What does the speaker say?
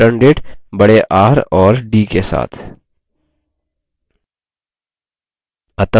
या returndate बड़े r और d के साथ